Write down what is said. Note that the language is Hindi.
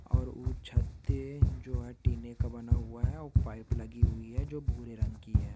और वो छत है जो टिने का बना हुआ है और पाईप लगी हुई है जो भूरे रंग की है।